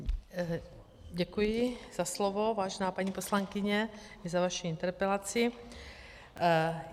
Děkuji za slovo, vážená paní poslankyně, za vaši interpelaci.